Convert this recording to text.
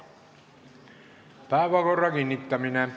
Päevakorra kinnitamine.